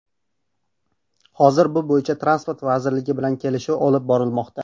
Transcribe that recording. Hozir bu bo‘yicha Transport vazirligi bilan kelishuv olib borilmoqda.